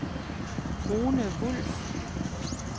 Rune Wulff